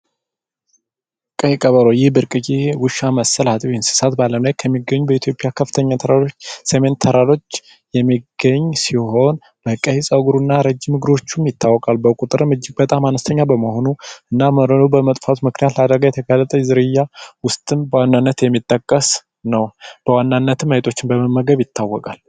ቀይ ቀበሮ ይህ ብርቅዬ ውሻ መሰል አጥቢ እንስሳት በአለም ላይ በኢትዮጵያ ከፍተኛ ተራሮች ሰሜን ተራሮች የሚገኝ ሲሆን በቀይ ፀጉሩ እና ረጅም እግሮቹም ይታወቃል። በቁጥር እጅግ በጣም አነስተኛ በመሆኑ እና በመጥፋት ምክንያት ለአደጋ የተጋለጠ ዝርያ ውስጥም በዋናነት የሚጠቀስ ነው። በዋናነት አይጦችን በመመገብ ይታወቃል።